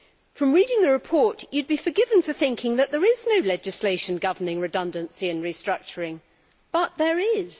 From reading the report you would be forgiven for thinking that there is no legislation governing redundancy and restructuring, but there is.